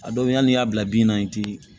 A dɔw be yen hali n'i y'a bila bin na i ti